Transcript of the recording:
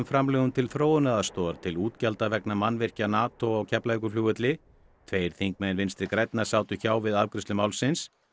framlögum til þróunaraðstoðar til útgjalda vegna mannvirkja Nató á Keflavíkurflugvelli tveir þingmenn Vinstri grænna sátu hjá við afgreiðslu málsins